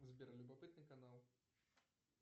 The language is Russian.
сбер любопытный канал